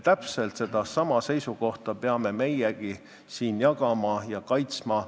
Täpselt sedasama seisukohta peame meiegi siin jagama ja kaitsma.